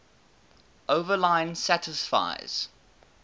overline satisfies